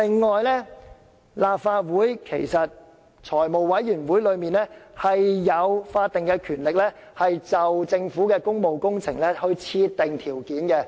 此外，立法會財務委員會其實享有法定權力，就政府的工務工程設定條件。